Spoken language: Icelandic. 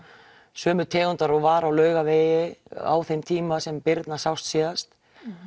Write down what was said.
sömu tegundar og var á Laugavegi á þeim tíma sem Birna sást síðast